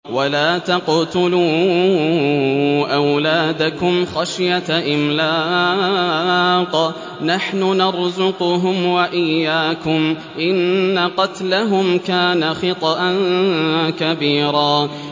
وَلَا تَقْتُلُوا أَوْلَادَكُمْ خَشْيَةَ إِمْلَاقٍ ۖ نَّحْنُ نَرْزُقُهُمْ وَإِيَّاكُمْ ۚ إِنَّ قَتْلَهُمْ كَانَ خِطْئًا كَبِيرًا